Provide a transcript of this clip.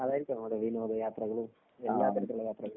അതായിരിക്കും നമ്മുടെ വിനോദയാത്രകളും. എല്ലാതരത്തിലുള്ള യാത്രകളും.